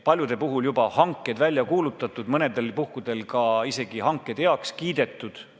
Paljude puhul on juba hanked välja kuulutatud, mõnedel puhkudel isegi hanked heaks kiidetud.